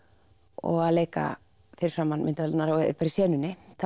og að leika fyrir framan myndavélarnar í senunni